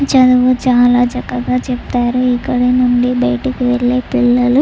చదువు చాలా చక్కగా చెబుతారు. ఇక్కడ నుండి బయటకి వెళ్లే పిల్లలు --